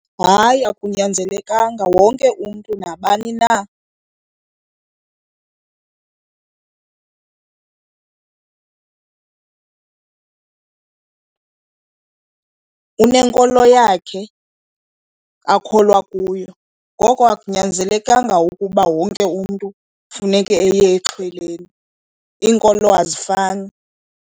Hayi akunyanzelekanga, wonke umntu nabani na unenkolo yakhe akholwa kuyo, ngoko akunyanzelekanga ukuba wonke umntu funeke eye exhweleni, iinkolo azifani.